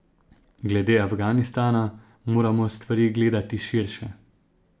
Glede Afganistana moramo stvari gledati širše.